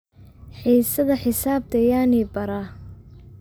Hesada Xisabta yaa ni baara?